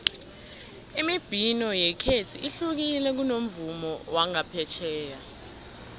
imibhino yekhethu ihlukile kunomvumo wangaphetjheya